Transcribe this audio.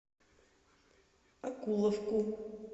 окуловку